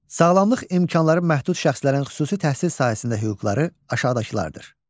Sağlamlıq imkanları məhdud şəxslərin xüsusi təhsil sahəsində hüquqları aşağıdakılardır: